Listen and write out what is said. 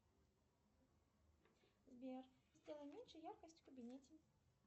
сбер сделай меньше яркость в кабинете